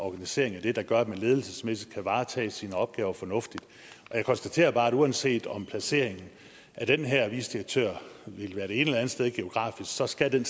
organisering af det der gør at man ledelsesmæssigt kan varetage sine opgaver fornuftigt jeg konstaterer bare at uanset om placeringen af den her vicedirektør ville være det ene eller andet sted geografisk så skal den